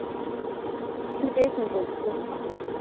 কে কি করছে?